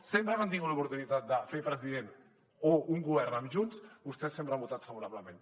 sempre que han tingut l’oportunitat de fer president o un govern amb junts vostès sempre hi han votat favorablement